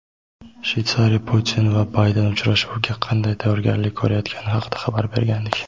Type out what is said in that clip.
Shveysariya Putin va Bayden uchrashuviga qanday tayyorgarlik ko‘rayotgani haqida xabar bergandik.